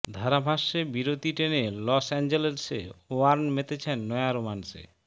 ধারাভাষ্যে বিরতি টেনে লস অ্যাঞ্জেলসে ওয়ার্ন মেতেছেন নয়া রোম্যান্সে